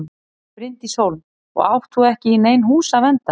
Bryndís Hólm: Og átt þú ekki í nein hús að vernda?